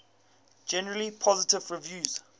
generally positive reviews